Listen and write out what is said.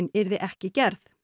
yrði ekki gerð